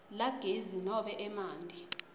lagezi nobe emanti